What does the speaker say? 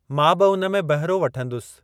मां बि उन में बहिरो वठंदुसि।